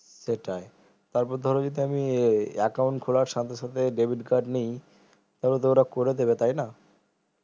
সেটাই তারপর ধরো যদি আমি account খোলার সঙ্গে সঙ্গে debit card নিই তাহলে তো ওরা করে দিবে তাইনা